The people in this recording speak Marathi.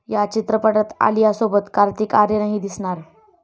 या चित्रपटात आलियासोबत कार्तिक आर्यनही दिसणार.